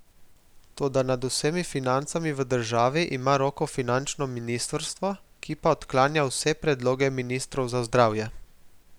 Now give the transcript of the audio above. Toda nad vsemi financami v državi ima roko finančno ministrstvo, ki pa odklanja vse predloge ministrov za zdravje.